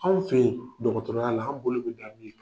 Anw fɛ ye dɔgɔtɔrɔya la an bolo bɛ da min kan.